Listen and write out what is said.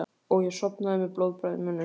Og ég sofna með blóðbragð í munninum.